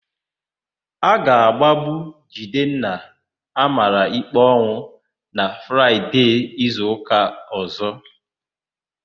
A ga-agbagbu Jidenna a mara ikpe ọnwụ na Fraịde izuụka ọ̀zó.